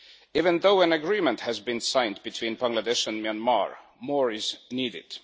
Even though an agreement has been signed between Bangladesh and Myanmar, more is needed.